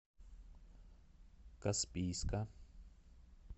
каспийска